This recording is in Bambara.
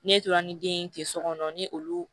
Ne tora ni den ye ten so kɔnɔ ni olu